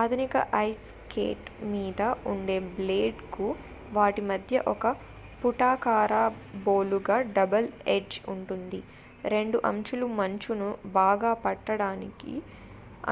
ఆధునిక ice skate మీద ఉండే బ్లేడ్ కు వాటి మధ్య ఒక పుటాకార బోలుగా డబుల్ ఎడ్జ్ ఉంటుంది రెండు అంచులు మంచును బాగా పట్టడానికి